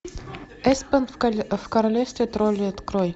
эспен в королевстве троллей открой